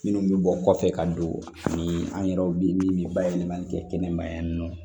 Minnu bɛ bɔ kɔfɛ ka don ni an yɛrɛw bɛ min bayɛlɛmali kɛ kɛnɛma yan nɔ